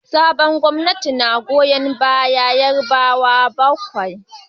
Sabuwar gwamnati tana goyon bayan Yarbawa kawai